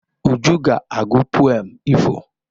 Uju ga-agụ pụem ifo.